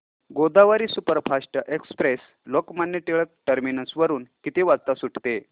Godavari superfast express Lokmanya Tilak terminus वरून किती वाजता सुटते